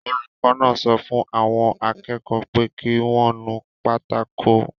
Olùkọ́ náà sọ fún àwọn akẹ́kọ̀ọ́ pé kí wọ́n nu pátákó